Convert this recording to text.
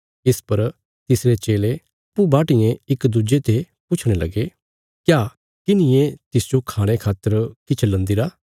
इस पर तिसरे चेले अप्पूँ बाटियें इक दुज्जे ते पुछणे लगे क्या किन्हिये तिसजो खाणे खातर किछ लन्दीरा